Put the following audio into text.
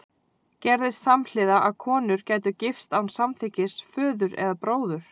Gerðist samhliða að konur gætu gifst án samþykkis föður eða bróður?